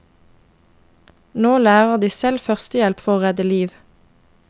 Nå lærer de selv førstehjelp for å redde liv.